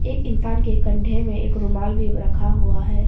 एक इंसान के कंधे में एक रुमाल भी रखा हुआ है।